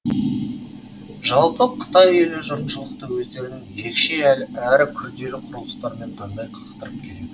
жалпы қытай елі жұртшылықты өздерінің ерекше әрі күрделі құрылыстарымен таңдай қақтырып келеді